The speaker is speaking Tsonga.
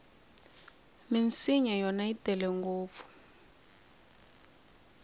minsinya yona yi tele ngopfu